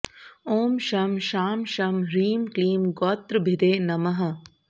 ॐ शं शां षं ह्रीं क्लीं गोत्रभिदे नमः